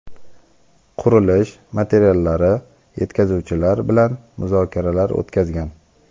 qurilish materiallari yetkazuvchilari bilan muzokaralar o‘tkazgan.